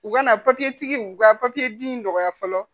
U kana u ka di mɔgɔya fɔlɔ